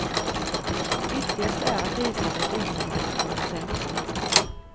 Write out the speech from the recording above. Viktigast är att resandet ökade med åtta procent.